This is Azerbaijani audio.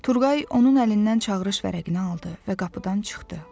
Turqay onun əlindən çağırış vərəqini aldı və qapıdan çıxdı.